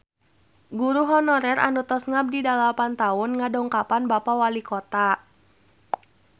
Guru honorer anu tos ngabdi dalapan tahun ngadongkapan Bapak Walikota